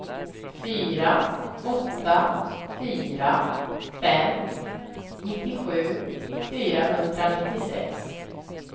fyra åtta fyra fem nittiosju fyrahundranittiosex